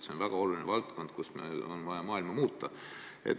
See on väga oluline valdkond, kus meil on vaja maailma muuta.